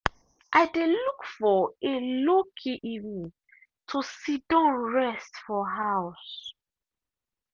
i dey look for a low key evening to sidon rest for house.